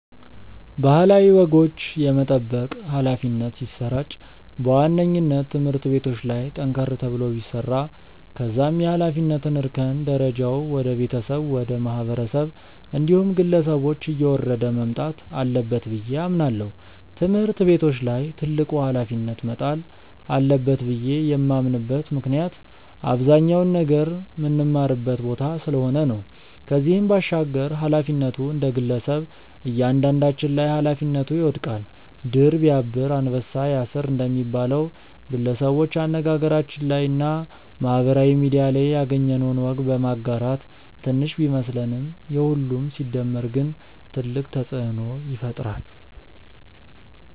ባህላዊ ወጎች የመጠበቅ ኃላፊነት ሲሰራጭ በዋነኝነት ትምህርት ቤቶች ላይ ጠንከር ተብሎ ቢሰራ ከዛም የኃላፊነት እርከን ደረጃው ወደ ቤተሰብ፣ ወደ ማህበረሰብ እንዲሁም ግለሰቦች እየወረደ መምጣት አለበት ብዬ አምናለው። ትምህርት ቤቶች ላይ ትልቁ ኃላፊነት መጣል አለበት ብዬ የማምንበት ምክንያት አብዛኛውን ነገር ምንማርበት ቦታ ስለሆነ ነው። ከዚህም ባሻገር ኃላፊነቱ እንደግለሰብ እያንዳንዳችን ላይ ኃላፊነቱ ይወድቃል። 'ድር ቢያብር አንበሳ ያስር' እንደሚባለው፣ ግለሰቦች አነጋገራችን ላይ እና ማህበራዊ ሚድያ ላይ ያገኘነውን ወግ በማጋራት ትንሽ ቢመስለንም የሁሉም ሲደመር ግን ትልቅ ተጽእኖ ይፈጥራል።